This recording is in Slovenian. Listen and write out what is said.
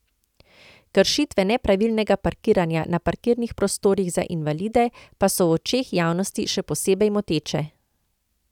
Kršitve nepravilnega parkiranja na parkirnih prostorih za invalide pa so v očeh javnosti še posebej moteče.